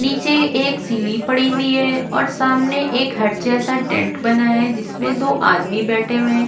नीचे एक सीढ़ी पड़ी हुई है और सामने एक हट जैसा टेंट बना है जिसमे दो आदमी बैठे हुए है।